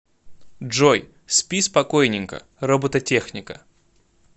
джой спи спокойненько робототехника